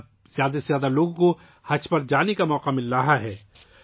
اب، زیادہ سے زیادہ لوگوں کو 'حج' پر جانے کا موقع مل رہا ہے